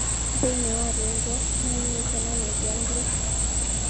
Thĩinĩ wa rwimbo nĩainĩte na Nubian Li.